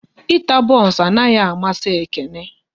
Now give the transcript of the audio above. Ịta bons anaghị amasi Ekene